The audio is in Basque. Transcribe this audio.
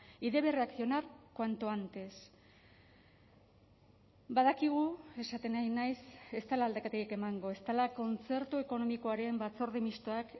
y debe reaccionar cuanto antes badakigu esaten ari naiz ez dela aldaketarik emango ez dela kontzertu ekonomikoaren batzorde mistoak